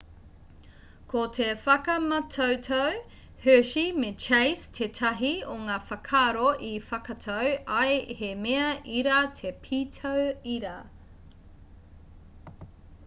ko te whakamātautau hershey me chase tētahi o ngā whakaaro i whakatau ai he mea ira te pītau ira